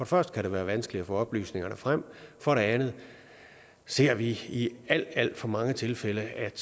første kan det være vanskeligt at få oplysningerne frem for det andet ser vi i alt alt for mange tilfælde at